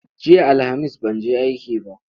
Jiya Alhamis ban je aiki ba.